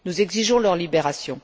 Nous exigeons leur libération.